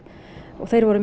og þeir voru